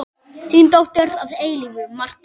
Þín dóttir að eilífu, Marta.